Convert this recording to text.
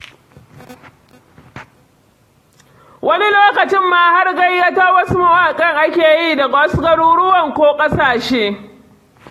Wani lokacin ma har gayyato wasu mawaƙan ake yi daga wasu garuruwan ko ƙasashe.